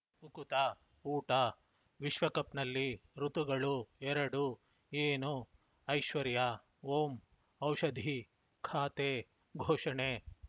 ಈಗ ಉಕುತ ಊಟ ವಿಶ್ವಕಪ್‌ನಲ್ಲಿ ಋತುಗಳು ಎರಡು ಏನು ಐಶ್ವರ್ಯಾ ಓಂ ಔಷಧಿ ಖಾತೆ ಘೋಷಣೆ